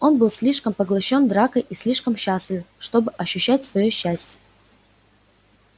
он был слишком поглощён дракой и слишком счастлив чтобы ощущать своё счастье